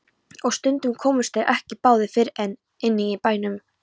Og stundum komust þeir ekki báðir fyrir inni í bænum.